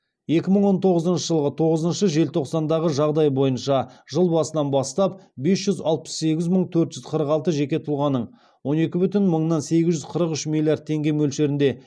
екі мың он тоғызыншы жылғы тоғызыншы желтоқсандағы жағдай бойынша жыл басынан бастап бес жүз алпыс сегіз мың төрт жүз қырық алты жеке тұлғаның он екі мың сегіз жүз қырық үш миллиард теңге мөлшерінде